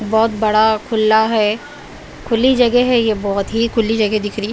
बहोत बड़ा खुला है खुली जगह है ये बहोत ही खुली जगह दिख रही--